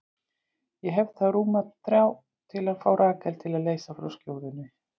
Ég hef þá rúma þrjá til að fá Rakel til að leysa frá skjóðunni.